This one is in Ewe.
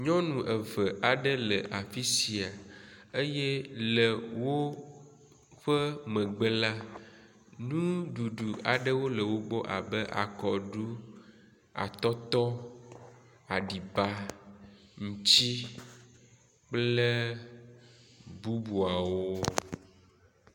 Nyɔnu eve aɖe le afi sia eye le woƒe megbe la nuɖuɖu aɖe le wo gbɔ abe akɔɖu, atɔtɔ, aɖiba, ŋutsi, kple bubuawo.